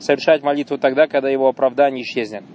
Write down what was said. совершать молитву тогда когда его оправдание исчезнет